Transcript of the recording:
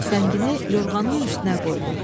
Tüfəngini yorğanın üstünə qoydu.